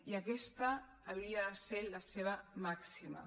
i aquesta hauria de ser la seva màxima